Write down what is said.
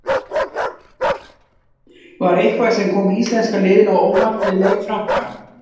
Var eitthvað sem kom íslenska liðinu á óvart við leik Frakka?